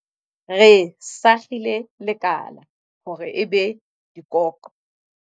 Re sakgile lekala hore e be dikoqo.